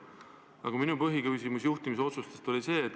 Aga minu põhiküsimus juhtimisotsuste kohta on see.